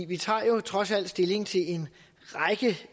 vi tager trods alt stilling til